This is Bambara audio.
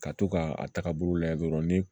Ka to ka a taga bolo lajɛ dɔrɔn ni